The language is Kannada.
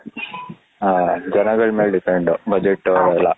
ಹ ಜನಗಳ ಮೇಲೆ depend ಬಜೆಟ್ ಎಲ್ಲಾ